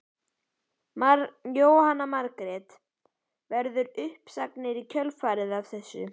Jóhanna Margrét: Verða uppsagnir í kjölfarið af þessu?